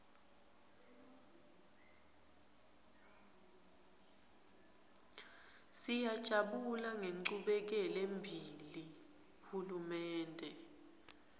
siyajabula ngenchubekelembili hulumende